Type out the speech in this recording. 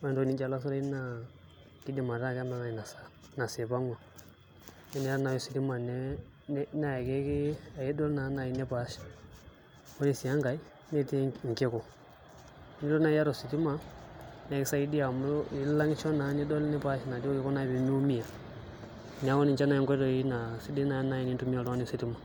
Ore entoki nijo olasurai naa kiidim ataa kemanaa ina saa ina saa ipang'ua, nee eniyata nai ositima ne ne naake kii ake idol nai nipaash. Ore sii enkae netii inkiku, enilo nai iyata ositima nekisaidia amu ilang'isho naa nidol nipash naduo kiku naa pee miumia. Neeku ninche nai nkoitoi naa sidai naa nai enintumia oltungani ositima.